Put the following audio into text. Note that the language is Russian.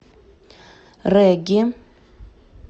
регги